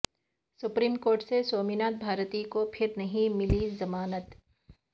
supreme court سے سومناتھ بھارتی کو پھر نہیں ملی ضمانت